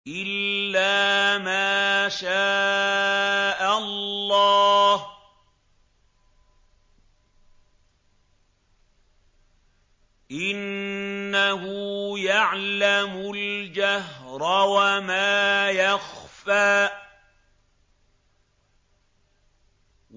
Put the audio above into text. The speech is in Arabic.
إِلَّا مَا شَاءَ اللَّهُ ۚ إِنَّهُ يَعْلَمُ الْجَهْرَ وَمَا يَخْفَىٰ